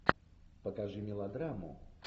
покажи мелодраму